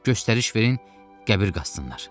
Göstəriş verin, qəbir qazsınlar.